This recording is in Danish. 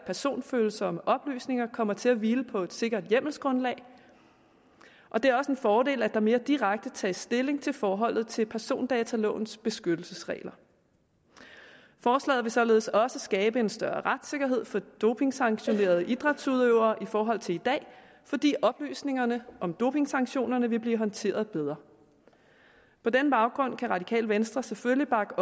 personfølsomme oplysninger kommer til at hvile på et sikkert hjemmelsgrundlag og det er også en fordel at der mere direkte tages stilling til forholdet til persondatalovens beskyttelsesregler forslaget vil således også skabe en større retssikkerhed for dopingsanktionerede idrætsudøvere i forhold til i dag fordi oplysningerne om dopingsanktionerne vil blive håndteret bedre på den baggrund kan radikale venstre selvfølgelig bakke